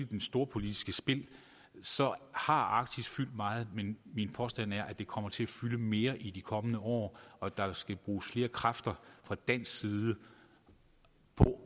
det storpolitiske spil så har arktis fyldt meget men min påstand er at det kommer til at fylde mere i de kommende år og at der skal bruges flere kræfter fra dansk side på